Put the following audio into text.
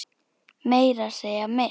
Meira að segja mitt